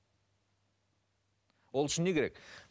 ол үшін не керек